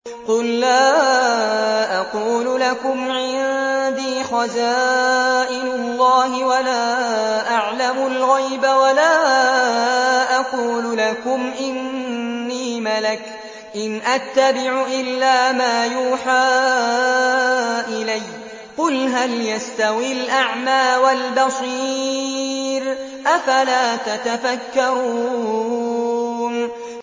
قُل لَّا أَقُولُ لَكُمْ عِندِي خَزَائِنُ اللَّهِ وَلَا أَعْلَمُ الْغَيْبَ وَلَا أَقُولُ لَكُمْ إِنِّي مَلَكٌ ۖ إِنْ أَتَّبِعُ إِلَّا مَا يُوحَىٰ إِلَيَّ ۚ قُلْ هَلْ يَسْتَوِي الْأَعْمَىٰ وَالْبَصِيرُ ۚ أَفَلَا تَتَفَكَّرُونَ